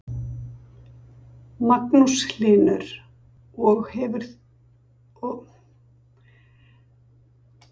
Magnús Hlynur: Og þetta hefur verið prófað?